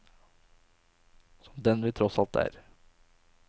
Som den vi tross alt er.